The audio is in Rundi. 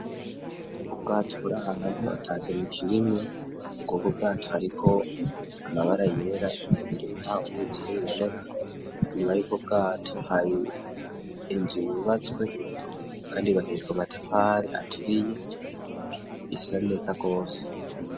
Ubwato buraha hantu ata kinu kirimwa, kuko bwato hariko amabara yera abirmwawe uwijiye biboneka inyuma yuko bwato hari inzu yibatswe, kandi bakisishwa matafare aturiye isa neza rwose.